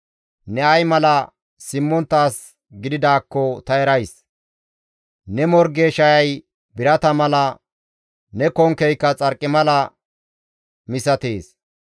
Ne ay mala simmontta as gididaakko ta erays; ne morge shayay birata mala, ne konkkey xarqimala misatees.